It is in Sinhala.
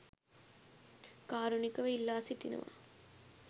කාරුණිකව ඉල්ලා සිටිනවා.